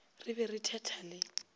re be re thetha le